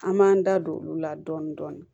An m'an da don olu la dɔɔnin dɔɔnin